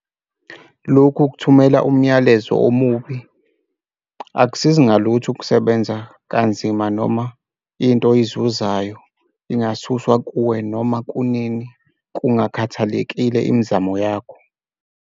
Lokhu kuthumela umyalezo omubi. Akusizi ngalutho ukusebenza kanzima noma into oyizuzayo ingasuswa kuwe noma kunini, kungakhathalekile imizamo yakho.